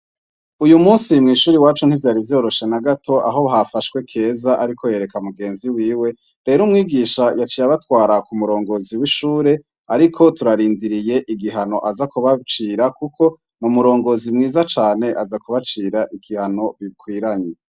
Uyu munsi mw'ishuri iwacu ntivyari vyoroshe na gato aho hafashwe Keza ariko yereka mugenzi wiwe, rero umwigisha yaciye abatwara ku murongozi w'ishure, ariko turarindiriye igihano aza kubacira kuko n'umurongozi mwiza cane aza kubacira igihano bikwiranye.